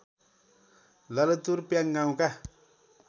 ललितपुर प्याङ गाउँका